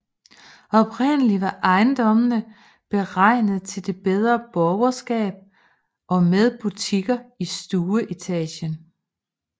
Oprindeligt var ejendommene beregnet til det bedre borgerskab og med butikker i stueetagen